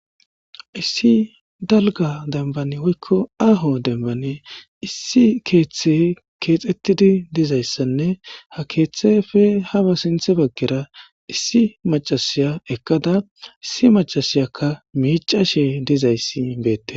Issi dalga dambani woykko aaho dembani issi keeththe keexettidi dizayssanne ha keeththe fe haba sinthe baggera issi macasiya ekkada issi macasiyakka miicashe dizayssi beette.